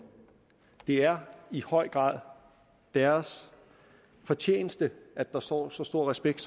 det er i høj grad deres fortjeneste at der står så stor respekt